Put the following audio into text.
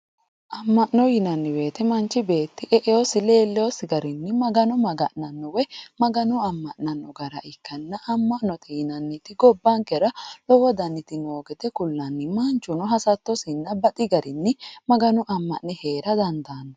amma'no yinanni woyiite manchi beetti e''eyoosi leelleyoosi garinni magano maga'nanno woyi magano amma'nanno gara ikkanna amma'note yinanniti gobbankera lowo daniti no gede kullanni manchuno hasattosi garinni magano amma'ne heera dandaanno